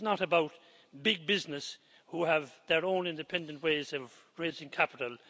This is not about big business, which has its own independent way of raising capital.